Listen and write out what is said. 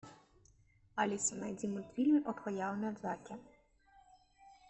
алиса найди мультфильм